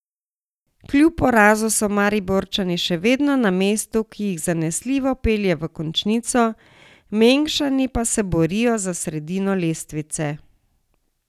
Kljub porazu so Mariborčani še vedno na mestu, ki jih zanesljivo pelje v končnico, Mengšani pa se borijo za sredino lestvice.